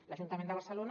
l’ajuntament de barcelona